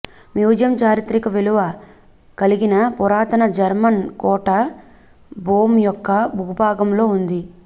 museum చారిత్రక విలువ కలిగిన పురాతన జర్మన్ కోట బోమ్ యొక్క భూభాగంలో ఉంది